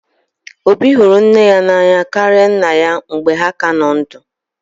Obi hụrụ nne ya n'anya karịa nna ya mgbe ha ka nọ ndụ